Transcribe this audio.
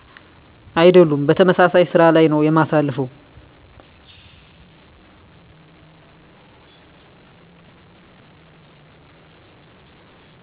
አይደሉም በተመሳሳይ ስራ ላይ ነው እማሳልፈው